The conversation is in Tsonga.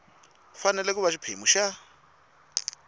fanele ku va xiphemu xa